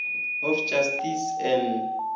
of justice and